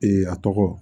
a tɔgɔ